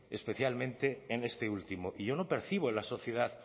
especialmente en este último y yo no percibo en la sociedad